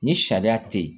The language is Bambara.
Ni sariya te yen